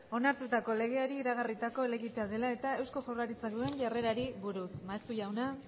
onartutako legeari iragarritako helegitea dela eta eusko jaurlaritzak duen jarrerari buruz maeztu jauna